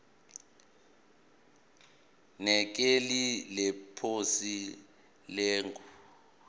nekheli leposi lelunga